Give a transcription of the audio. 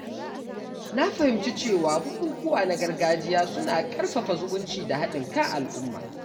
Na fahimci cewa bukukuwa na gargajiya suna ƙarfafa zumunci da haɗin kan al’umma.